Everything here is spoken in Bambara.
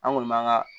An kɔni b'an ka